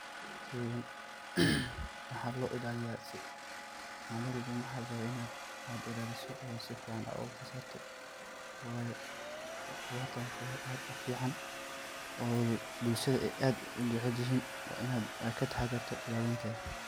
Sheygan waxa lo ilaliya si, maninwalbo waxa laraba inad ilalisit oo safican uilaliso wayo qodhartan wa wax ad ufican oo bulshadadha aad ujecelyin wa inad kataxdarta ilalintedha.